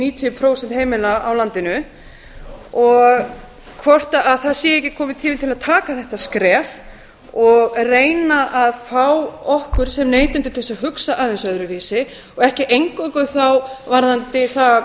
níutíu prósent heimila á landinu hvort það sé ekki kominn tími til að taka þetta skref og reyna að fá okkur sem neytendur til þess að hugsa aðeins öðruvísi og ekki eingöngu þá varðandi það hvort